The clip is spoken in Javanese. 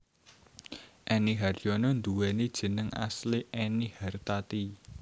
Enny Haryono nduwéni jeneng asli Ennie Hartati